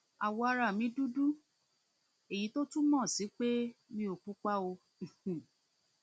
awọ ara mi dúdú èyí tó túmọ sí pé mi ò pupa um